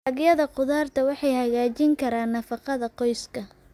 Dalagyada khudraddu waxay hagaajin karaan nafaqada qoyska.